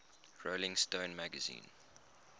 rolling stone magazine